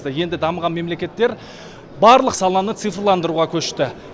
енді дамыған мемлекеттер барлық саланы цифрландыруға көшті